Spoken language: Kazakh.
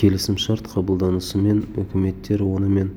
келісімшарт қабылданысымен үкіметтер онымен